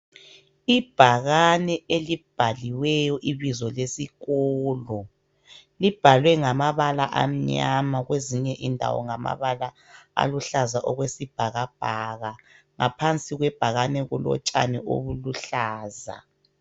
Ibhakane elibhaliweyo ibizo lesikolo ibhalwe ngamabala amnyama kwezinye indawo ngamabala aluhlaza okwesibhakabhaka ngaphansi kwebhakane kulotshani obuluhlaza.